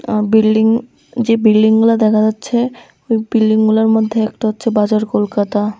আ building যে বিল্ডিংগুলা দেখা যাচ্ছে ওই বিল্ডিংগুলার মধ্যে একটা হচ্ছে বাজার কলকাতা।